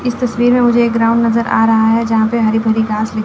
इस तस्वीर में मुझे एक ग्राउंड नजर आ रहा है यहां पे हरी भरी घास--